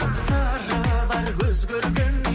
сыры бар көз көргеннің